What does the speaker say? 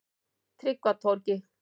Tryggvatorgi